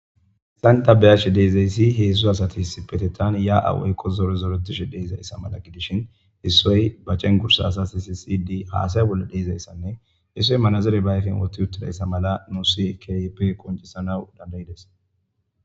issanta beyashe deezeyssi heedzdzu asati hissipetettan ya7awuykko zore zoretishe deeizayssa mala gidishin issoy ba cen gursa asas i sisidi haasay bolle deeizayssanne issoy manazure baayfen woti uttidayssa mala nusi kip qoncissanaw dandayides